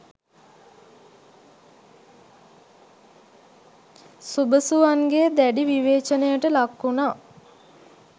සුබසුවන්ගේ දැඩි විවේචනයට ලක් වුනා.